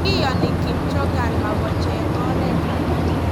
Kiyani Kim Jong-un makocheng oreet ake.